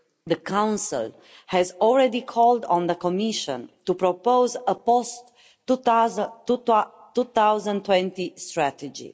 The Council has already called on the Commission to propose a post 2020 strategy.